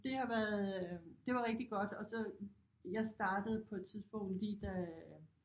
Det har været det var rigtig godt og så jeg startede på et tidspunkt lige da